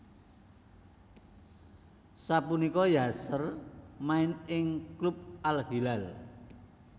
Sapunika Yasser main ing klub Al Hilal